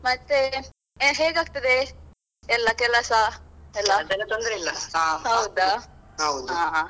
ಮತ್ತೇ ಹೇಗಾಗ್ತದೇ ಎಲ್ಲಾ ಕೆಲಸಾ ಎಲ್ಲಾ ಹೌದಾ. .